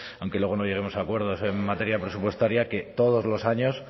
aunque luego no lleguemos a acuerdos en materia presupuestaria que todos los años